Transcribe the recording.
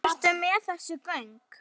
Ertu með þessi gögn?